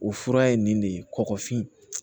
O fura ye nin de ye kɔkɔfin